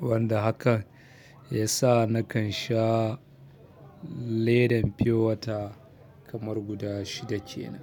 Wanda haka ya sa nakan sha ledan pure water kamar guda shida kenan.